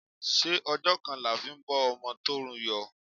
Ṣé ọjọ́ kan la fi ń bọ́ ọmọ tó rù yó?